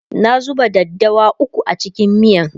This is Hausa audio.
na zuba daddawa ukwu a cikin miyan